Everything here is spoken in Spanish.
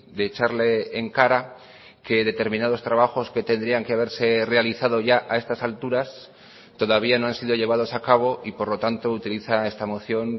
de echarle en cara que determinados trabajos que tendrían que haberse realizado ya a estas alturas todavía no han sido llevados a cabo y por lo tanto utiliza esta moción